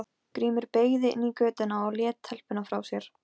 Það var reglulega frumlegt af mér að fara hingað.